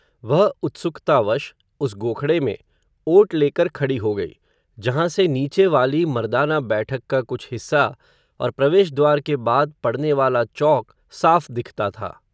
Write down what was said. वह उत्सुकतावश, उस गोखडे में, ओट लेकर खडी हो गई, जहाँ से नीचे वाली मर्दाना बैठक का कुछ हिस्सा, और प्रवेश द्वार के बाद, पडने वाला चौक साफ़ दिखता था